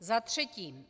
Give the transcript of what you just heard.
Za třetí.